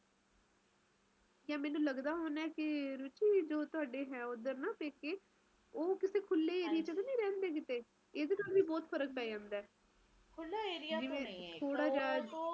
ਬਹੁਤ ਫਰਕ ਪੈ ਜਾਂਦਾ ਹੈ ਹਨ ਚੀਜ਼ਾਂ ਨਾਲ ਜਿੰਨੇ ਜ਼ਿਆਦਾ ਹਰਿਆਲੀ ਹੋਊਗੀ ਓਹਨਾ ਹੀ ਵਧੀਆ ਸਹੀ ਤਰੀਕੇ ਨਾਲ ਰਹੇਗਾ ਮੀਹ ਪਵੇਗਾ